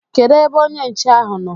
Kedu ebe onye nche ahụ nọ?